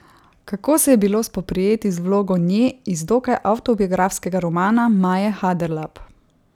Kako se je bilo spoprijeti z vlogo Nje iz dokaj avtobiografskega romana Maje Haderlap?